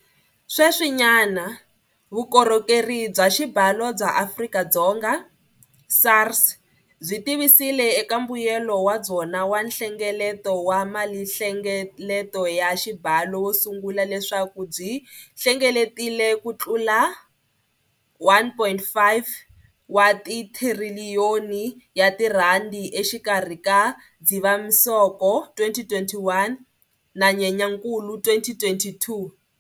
Sweswinyana, Vukorhokeri bya Xibalo bya Afrika-Dzonga, SARS, byi tivisile eka mbuyelo wa byona wa nhlengeleto wa malinhlengeleto ya xibalo wo sungula leswaku byi hlengeletile kutlula R1.5 wa tithiriliyoni exikarhi ka Dzivamisoko 2021 na Nyenyankulu 2022.